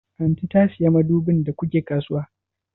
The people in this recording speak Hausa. Aunty ta saya madubin da ku ke kasuwa?